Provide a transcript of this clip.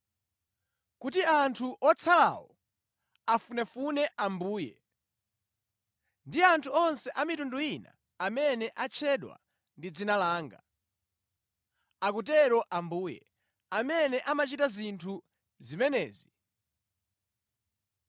kuti anthu otsalawo afunefune Ambuye, ndi anthu onse a mitundu ina amene atchedwa ndi dzina langa, akutero Ambuye, amene amachita zinthu zimenezi